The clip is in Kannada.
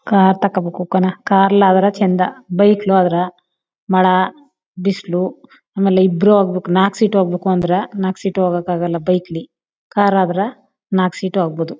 ಕಾರ್ ತಗೋಬೇಕು ಕಣೋ ಕಾರ್ ಅಲ ಅದ್ರ ಚಂದ. ಬೈಕ್ ಲಿ ಹೋದ್ರ ಮಳೆ ಬಿಸಿಲು ಆಮೇಲೆ ಇಬ್ಬರು ಹೋಗ್ಬೇಕು ನಾಕ್ ಸಿಟ್ಟು ಹೋಗ್ಬೇಕು ಅಂದ್ರ ನಾಕ್ ಸಿಟ್ಟು ಹೋಗಾಕಗಳ ಬೈಕ್ ಲಿ ಕಾರ್ ಅದ್ರ ನಾಕ್ ಸಿಟ್ಟು ಹೋಗ್ಬಹುದು.